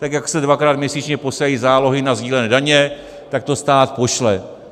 Tak jak se dvakrát měsíčně posílají zálohy na sdílené daně, tak to stát pošle.